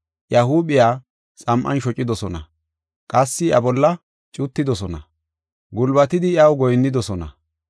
Iya huuphiya xam7an shocidosona; qassi iya bolla cuttidosona; gulbatidi iyaw goyinnidosona.